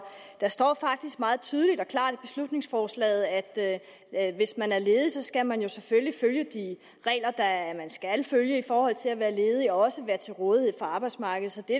der står faktisk meget tydeligt og klart i beslutningsforslaget at at hvis man er ledig skal man selvfølgelig følge de regler man skal følge i forhold til at være ledig og også være til rådighed for arbejdsmarkedet så det